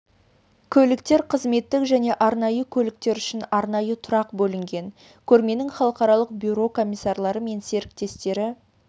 көліктер қызметтік және арнайы көліктер үшін арнайы тұрақ бөлінген көрменің халықаралық бюро комиссарлары мен серіктестері